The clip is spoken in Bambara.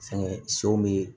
Fɛnkɛ sow be yen